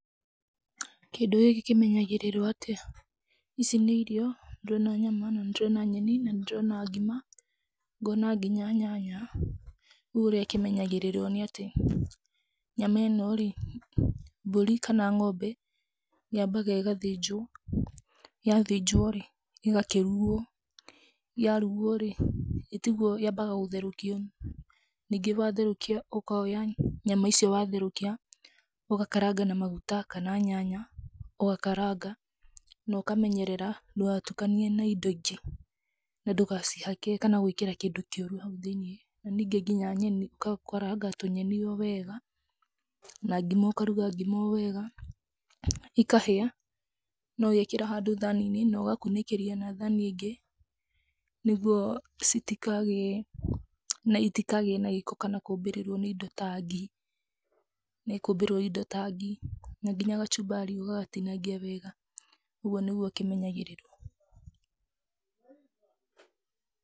Kĩndũ gĩkĩ kĩmenyagĩrĩrwo atĩa? Ici nĩ irio, nĩ ndĩrona nyama, na nĩ ndĩrona nyeni na nĩ ndĩrona ngima ngona nginya nyanya, rĩu ũrĩa kĩmenyagĩrĩrio nĩ atĩ, nyama ĩno rĩ mbũri kana ng'ombe yambaga ĩgathĩnjwo yathĩnjwo rĩ, ĩgakĩrugwo, yarugwo rĩ itigwo yambaga gũtherũkio, ningĩ watherũkia ũkoya nyama icio watherũkia ũgakaranga na maguta kana nyanya, ũgakaranga na ũkamenyera ndũgatukanie na indo ingĩ na ndũgacihake kana gwĩkĩra kĩndũ kĩũru hau thĩiniĩ, na ningĩ nginya nyeni ũgakaraga tũnyeni o wega, na ngĩma ũkaruga ngima o wega, ĩkahĩa, no wĩkĩre handũ thani-inĩ, na ũgakunĩkĩria na thani ĩngĩ, nĩguo itikagĩe na gĩko, kana kũmbĩrĩrwo nĩ indo ngi, nĩkũmbĩrĩrwo nĩ indo ta ngi na nginya kachumbari ũgagatinagia wega, ũguo nĩguo ũkĩmenyagĩrĩwo.